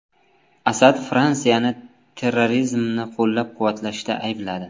Asad Fransiyani terrorizmni qo‘llab-quvvatlashda aybladi.